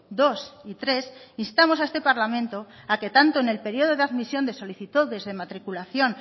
dos y tres instamos a este parlamento a que tanto en el periodo de admisión de solicitudes de matriculación